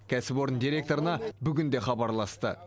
кәсіпорын директорына бүгін де хабарласты